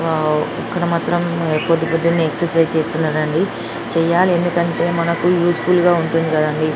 Wow ఎక్కడ మాత్రం పొద్దుపొద్దున్నే ఎక్సర్సైజులు చేస్తున్నారు చేయాలి ఎందుకంటే మనకి యూస్ ఫుల్ గా ఉంటుంది కదండీ.